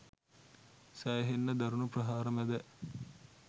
සෑහෙන්න දරුණු ප්‍රහාර මැද